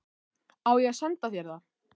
Á ég að senda þér það?